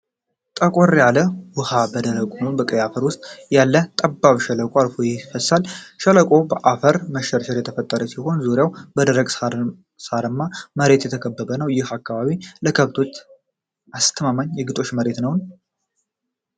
ጠቆር ያለ ውሃ በደረቁና ቀይ አፈር ውስጥ ያለ ጠባብ ሸለቆ አልፎ ይፈሳል። ሸለቆው በአፈር መሸርሸር የተፈጠረ ሲሆን ዙሪያው በደረቅ ሣርማ መሬት የተከበበ ነው። ይህ አካባቢ ለከብቶች አስተማማኝ የግጦሽ መሬት ነው?